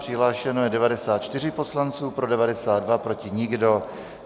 Přihlášeno je 94 poslanců, pro 92, proti nikdo.